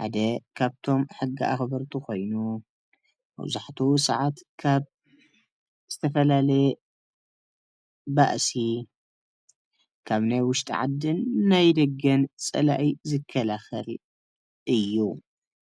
ሓደ ካብቶም ሕጊ ኣኸበርቲ ኮይኑ መብዛሕተኡ ሰዓት ካብ ዝተፈላለየ ባእሲ ካብ ናይ ውሽጢ ዓድን ናይ ድገን ፀላኢ ዝከላኸል እዩ ።